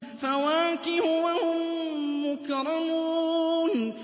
فَوَاكِهُ ۖ وَهُم مُّكْرَمُونَ